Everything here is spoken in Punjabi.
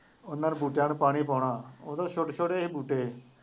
ਉਹਨਾ ਨੇ ਬੂਟਿਆਂ ਨੂੰ ਪਾਣੀ ਪਾਉਣਾ, ਉਦੋਂ ਛੋਟੇ ਛੋਟੇ ਸੀ ਬੂਟੇ,